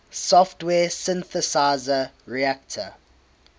software synthesizer reaktor